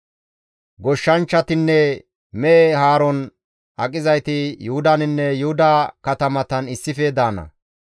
Goshshanchchatinne mehe haaron aqizayti Yuhudaninne Yuhuda katamatan issife daana;